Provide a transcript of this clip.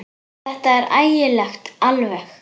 Ó, þetta er ægilegt alveg.